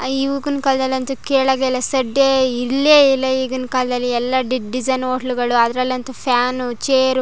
ಈಗಿನ್ ಕಾಲದಲ್ಲಂತೂ ಕೇಳೋದೇ ಇಲ್ಲ ಸಡ್ದೆ ಇಲ್ಲೇ ಇಲ್ಲ ಈಗಿನ ಕಾಲದಲ್ಲಿ ಎಲ್ಲ ಡಿಸೈನ್ ಹೋಟೆಲ್ ಗಳು ಅದರಲ್ಲಂತೂ ಫ್ಯಾನ್ ಚೇರ್ --